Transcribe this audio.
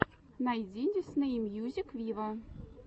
найти дисней мьюзик виво